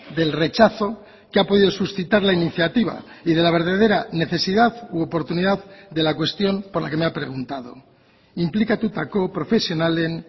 del rechazo que ha podido suscitar la iniciativa y de la verdadera necesidad u oportunidad de la cuestión por la que me ha preguntado inplikatutako profesionalen